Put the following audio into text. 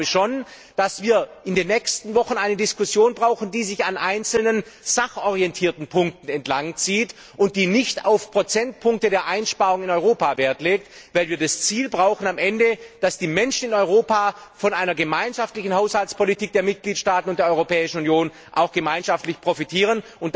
Aber ich glaube schon, dass wir in den nächsten Wochen eine Diskussion brauchen, die sich an einzelnen sachorientierten Punkten entlangzieht und die nicht auf Prozentpunkte der Einsparungen in Europa Wert legt, weil wir am Ende das Ziel brauchen, dass die Menschen in Europa von einer gemeinschaftlichen Haushaltspolitik der Mitgliedstaaten und der Europäischen Union auch gemeinschaftlich profitieren.